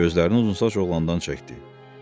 Gözlərini uzunsaç oğlandan çəkdi.